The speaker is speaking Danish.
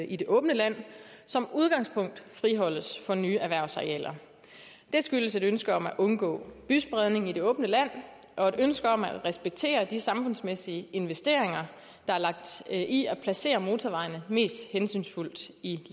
i det åbne land som udgangspunkt friholdes for nye erhvervsarealer det skyldes et ønske om at undgå byspredning i det åbne land og et ønske om at respektere de samfundsmæssige investeringer der er lagt i at placere motorvejene mest hensynsfuldt i